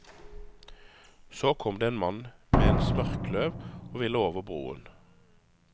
Så kom det en mann med en smørkløv, og ville over broen.